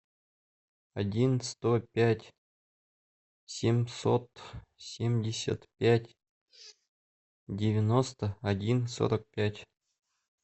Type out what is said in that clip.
один сто пять семьсот семьдесят пять девяносто один сорок пять